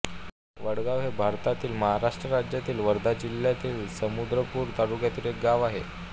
वडगाव हे भारतातील महाराष्ट्र राज्यातील वर्धा जिल्ह्यातील समुद्रपूर तालुक्यातील एक गाव आहे